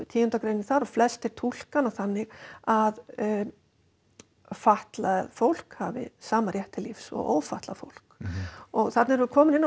tíunda greinin þar flestir túlka hana þannig að fatlað fólk hafi sama rétt til lífs og ófatlað fólk þarna erum við komin inn á